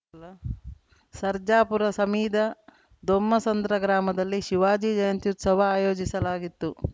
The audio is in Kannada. ಸರ್ಜಾಪುರ ಸಮೀದ ದೊಮ್ಮಸಂದ್ರ ಗ್ರಾಮದಲ್ಲಿ ಶಿವಾಜಿ ಜಯಂತ್ಯುತ್ಸವ ಆಯೋಜಿಸಲಾಗಿತ್ತು